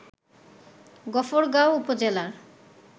গফরগাঁও উপজেলার